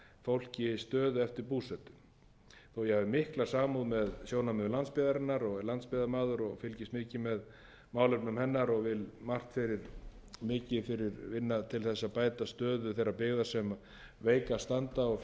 fólki stöðu eftir búsetu þó ég hafi mikla samúð með sjónarmiðum landsbyggðarinnar sé landsbyggðarmaður og er landsbyggðarmaður og fylgist mikið með málefnum hennar og vil eigi vinna til að bæta stöðu þeirrar byggðar sem veikast standa og